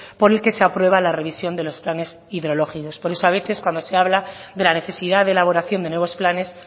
por el que se aprueba la revisión de los planes hidrológicos por eso a veces cuando se habla de la necesidad de elaboración de nuevos planes